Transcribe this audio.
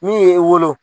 Min ye e wolo